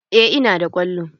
Eh ina da kwallo.